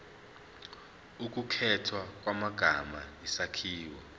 ukukhethwa kwamagama isakhiwo